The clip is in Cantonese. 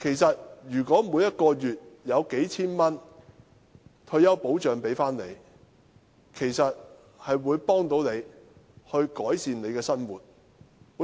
但如每月可發放數千元的退休保障，其實便能協助長者改善生活。